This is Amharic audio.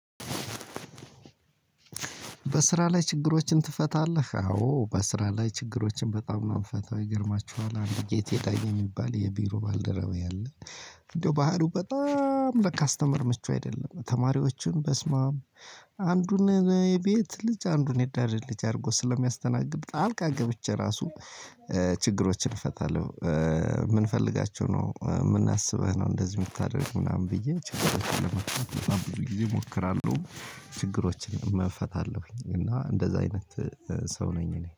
በስራ ችግሮችን ትፈታለህ አዎ በስራ ላይ ችግሮችን በጣም ነው እምፈታው ይገርማችኋል አንድ ጌታ ዳኜ የሚባል የቢሮ ባልደረባዬ አለ እንደው ባህሪው በጣም ለካስተመር ምቹ አይደለም ተማሪዎችን በስማም አንዱን የቤት ልጅ አንዱን የዳር ልጅ አድርጎ ስለሚያስተናግድ ጣልቃ ገብቼ ራሱ ችግሮችን እፈታለሁ። ምንፈልጋቸው ነው ምንአበህ ነው? እንደዚህ ምታደርግ ምናምን ብዬ ብዙ ጊዜ እሞክራለሁ። ችግሮችንም እፈታለሁኝ እና እንደዛ አይነት ሰው ነኝ። እኔ